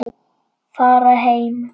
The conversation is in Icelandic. Fara heim.